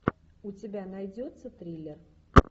у тебя найдется триллер